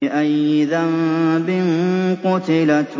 بِأَيِّ ذَنبٍ قُتِلَتْ